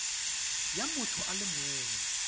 ya motho a le mongwe